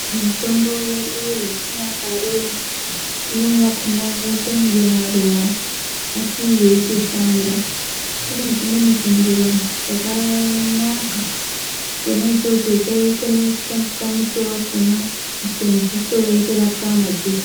Mitombo yedu yechinyakare imweni yakona yoite kunge maruva asi yeitoshanda, kune chimweni chimuruva chakanaka chona ichocho chaikwanise kushandiswe muto wakona kuiswe mudziso wotorapwa madziso.